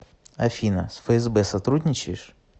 афина с фсб сотрудничаешь